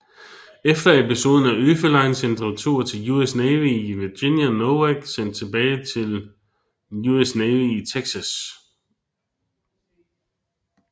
Efter episoden er Oefelein sendt retur til US Navy i Virginia og Nowak sendt tilbage til US Navy i Texas